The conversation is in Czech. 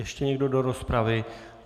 Ještě někdo do rozpravy?